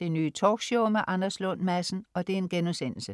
Det Nye Talkshow med Anders Lund Madsen*